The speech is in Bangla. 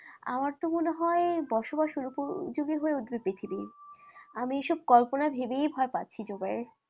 আমারতো মনেহয় বসবাস অউপযোগী হয়েউঠবে পৃথিবী আমি এসব কল্পনা ভেবেই ভয়পাচ্ছি জুবাই,